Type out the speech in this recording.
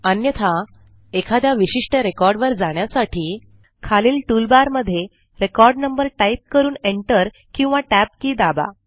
अन्यथा एखाद्या विशिष्ट रेकॉर्ड वर जाण्यासाठी खालील टूलबारमधे रेकॉर्ड नंबर टाईप करून एंटर किंवा टॅब की दाबा